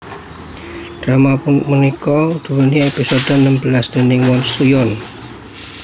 Drama punika duweni episode enem belas déning Woon Soo yoon